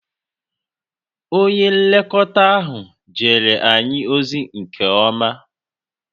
Onye nlekọta ahụ jere anyị ozi nke ọma